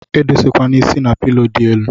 Edose kwana is na pilo di elu.